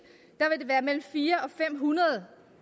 vil være mellem fire og fem hundrede